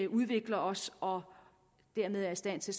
udvikler os og dermed er i stand til